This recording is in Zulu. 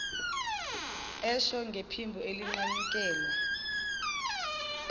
esho ngephimbo elinqanyukelwa